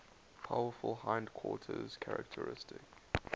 powerful hindquarters characteristic